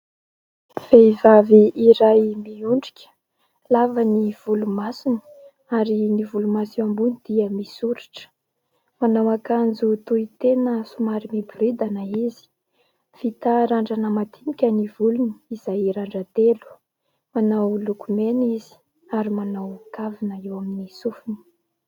Vehivavy iray miondrika, lava ny volomasony, ary ny volomaso eo ambony dia misoritra. Manao akanjo tohitena somary miboridana izy. Vita randrana madinika ny volony izay randran-telo. Manao lokomena izy ary manao kavina eo amin'ny sofiny.